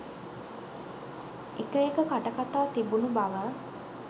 එක එක කටකතා තිබුණු බව